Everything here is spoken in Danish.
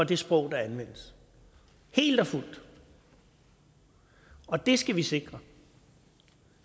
det sprog der anvendes helt og fuldt og det skal vi sikre